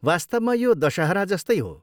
वास्तवमा यो दशहरा जस्तै हो।